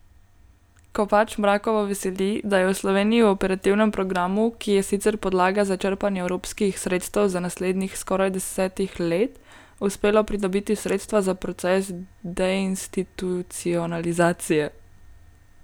Kopač Mrakovo veseli, da je Sloveniji v operativnem programu, ki je sicer podlaga za črpanje evropskih sredstev za naslednjih skoraj desetih let, uspelo pridobiti sredstva za proces deinstitucionalizacije.